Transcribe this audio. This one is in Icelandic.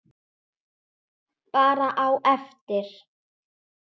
Bara á eftir.